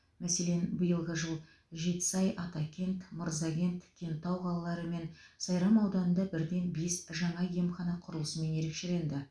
мәселен биылғы жыл жетісай атакент мырзакент кентау қалалары мен сайрам ауданында бірден бес жаңа емхана құрылысымен ерекшеленді